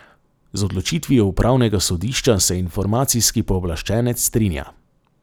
Z odločitvijo upravnega sodišča se informacijski pooblaščenec strinja.